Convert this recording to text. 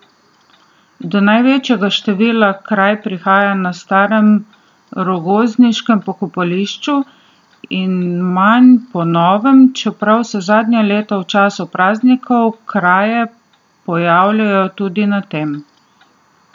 Do največjega števila kraj prihaja na starem rogozniškem pokopališču in manj na novem, čeprav se zadnja leta v času praznikov kraje pojavljajo tudi na tem.